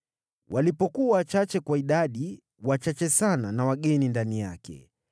Walipokuwa wachache kwa idadi, wachache sana na wageni ndani yake,